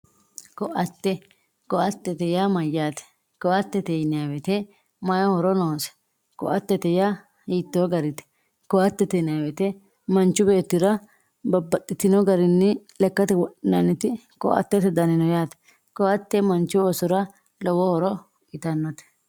ko"atte ko"attete yaa mayyaate ko"attete yineemmoti mayii horo noose ko"attete hiittoo garite ko"attete yinayii woyiite yaa manchi beettira babbaxxitino garinni lekkate wodhinanniti ko"attete dani no yaate ko"atte manchu oossora lowo horo uyiitannote.